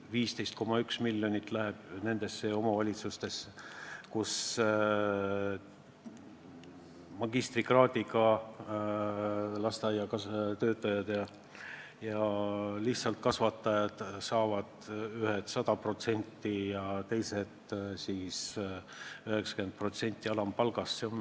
15,1 miljonit läheb omavalitsustesse, kus magistrikraadiga lasteaiatöötajad saavad 100% ja lihtsalt kasvatajad 90% alampalgast.